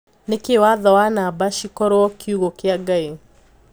Niki watho na namba cikorwo kiugo kia ngai?"